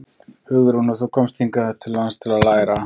Hugrún: Og þú komst hingað til lands til að læra?